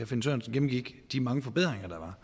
finn sørensen gennemgik de mange forbedringer